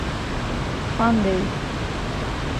фандэй